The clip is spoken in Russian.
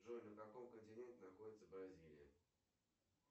джой на каком континенте находится бразилия